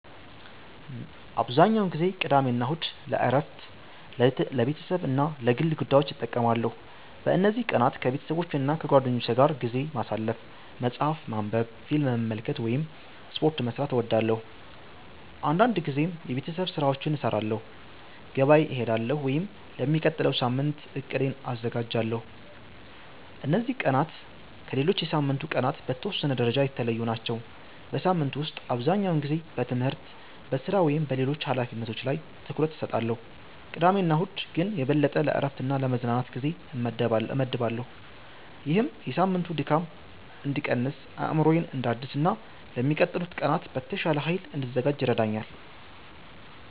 **"አብዛኛውን ጊዜ ቅዳሜና እሁድን ለእረፍት፣ ለቤተሰብ እና ለግል ጉዳዮች እጠቀማለሁ። በእነዚህ ቀናት ከቤተሰቦቼና ከጓደኞቼ ጋር ጊዜ ማሳለፍ፣ መጽሐፍ ማንበብ፣ ፊልም መመልከት ወይም ስፖርት መስራት እወዳለሁ። አንዳንድ ጊዜም የቤት ስራዎችን እሰራለሁ፣ ገበያ እሄዳለሁ ወይም ለሚቀጥለው ሳምንት እቅዴን አዘጋጃለሁ። እነዚህ ቀናት ከሌሎች የሳምንቱ ቀናት በተወሰነ ደረጃ የተለዩ ናቸው። በሳምንቱ ውስጥ አብዛኛውን ጊዜ በትምህርት፣ በሥራ ወይም በሌሎች ኃላፊነቶች ላይ ትኩረት እሰጣለሁ፣ ቅዳሜና እሁድ ግን የበለጠ ለእረፍትና ለመዝናናት ጊዜ እመድባለሁ። ይህም የሳምንቱን ድካም እንድቀንስ፣ አእምሮዬን እንዳድስ እና ለሚቀጥሉት ቀናት በተሻለ ኃይል እንድዘጋጅ ይረዳኛል።"